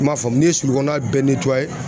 I m'a faamu n'i ye sulu kɔnɔna bɛɛ